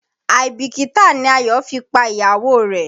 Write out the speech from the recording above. Àìbìkítà ni Ayọ̀ fi pa ìyàwó rẹ̀.